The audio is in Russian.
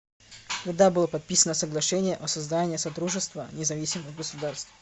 когда было подписано соглашение о создании содружества независимых государств